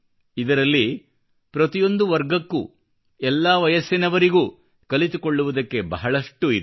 ಇದರಲ್ಲಿ ಪ್ರತಿಯೊಂದು ವರ್ಗಕ್ಕೂ ಎಲ್ಲಾ ವಯಸ್ಸಿನವರಿಗೂ ಕಲಿತುಕೊಳ್ಳುವುದಕ್ಕೆ ಬಹಳಷ್ಟು ಇದೆ